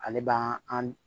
Ale b'an an